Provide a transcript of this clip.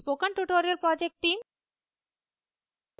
spoken tutorial project team: